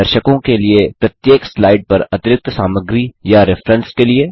दर्शकों के लिए प्रत्येक स्लाइड पर अतिरिक्त सामग्री या रेफ्रेन्सेस के लिए